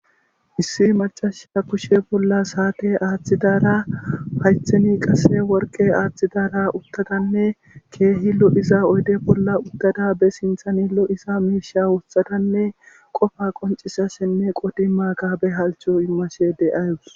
issi macasha kushe bolla saate aaththidaara haytheni qase worqe aaththidaara uttadanne keehi lo7iza oyde bolla uttada be sinthani lo7isa miisha woothatanne qofa qoncisa senne qodi maakaabe halcho immashe de ayus